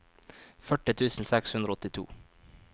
førti tusen seks hundre og åttito